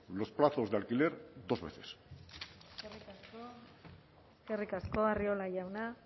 los plazos de alquiler dos veces eskerrik asko arriola jauna